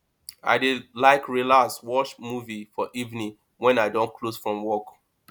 i dey like relax watch movie for evening wen i don close from work